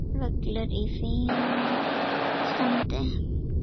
Völlur í fínu standi.